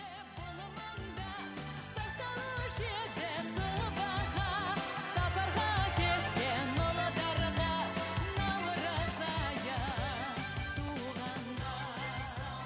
бұл маңда сақталушы еді сыбаға сапарға кеткен ұлдарға наурыз айы туғанда